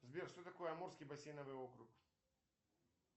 сбер что такое амурский бассейновый округ